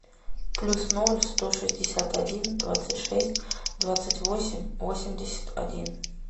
плюс ноль сто шестьдесят один двадцать шесть двадцать восемь восемьдесят один